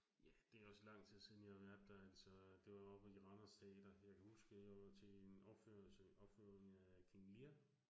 Ja, det også lang tid siden, jeg har været der altså. Det var oppe i Randers Teater, jeg kan huske, jeg var til en opførelse, opføring af King Lear